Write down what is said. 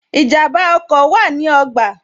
Ìjànbá ọkọ̀ wa ní ogba